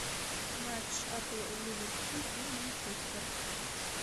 матч апл ливерпуль и манчестер